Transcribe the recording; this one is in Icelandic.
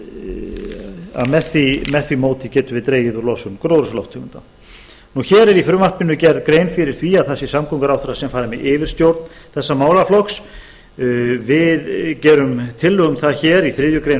að með því móti getum við dregið úr losun gróðurhúsalofttegunda hér er í frumvarpinu gerð grein fyrir því að það sé samgönguráðherra sem fari með yfirstjórn þessa málaflokks við gerum tillögu um það í þriðju greinar